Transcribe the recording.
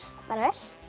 bara vel